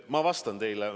Ma vastan teile.